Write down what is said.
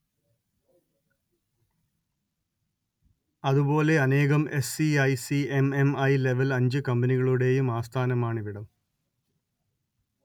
അതുപോലെ അനേകം S E I C M M I level അഞ്ച് കമ്പനികളുടെയും ആസ്ഥാനമാണിവിടം